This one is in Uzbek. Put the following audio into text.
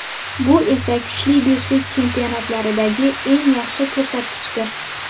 Bu esa kuchli beshlik chempionatlaridagi eng yaxshi ko‘rsatkichdir .